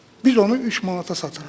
Biz onu 3 manata satırıq.